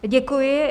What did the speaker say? Děkuji.